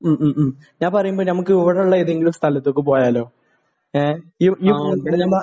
മ്മ്. മ്മ്. മ്മ്. ഞാൻ പറയുന്നതേ നമുക്ക് ഇവിടെയുള്ള ഏതെങ്കിലും സ്ഥലത്തേക്ക് പോയാലോ? ഏഹ്? ഈ ഇവിടെ